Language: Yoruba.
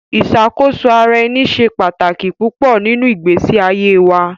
Iṣakoso-ara-ẹni ṣe pataki pupọ ninu igbesi aye wa